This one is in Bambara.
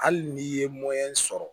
Hali n'i ye sɔrɔ